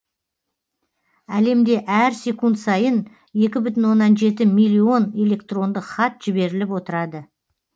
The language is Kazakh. әлемде әр секунд сайын екі бүтін оннан жеті миллион электрондық хат жіберіліп отырады